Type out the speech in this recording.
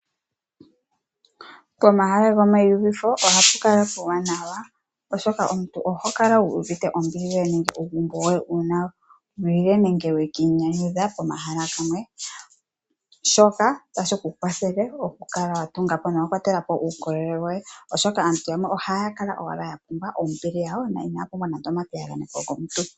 Pomahala gomayinyanyudho ohapu kala puuwanawa oshoka omuntu ohokala wu uvite ombili yoye nenge uugumbo woye uuna waya nenge weki inyanyudha pomahala galwe oshoka otashi ku kwathele okukala watungapo nawa uukolele woye oshoka aantu yamwe ohaya kala owala yapumbwa ombili na inaya pumbwa nande epiyagano lyomuntu.